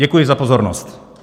Děkuji za pozornost.